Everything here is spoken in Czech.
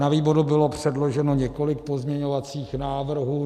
Na výboru bylo předloženo několik pozměňovacích návrhů.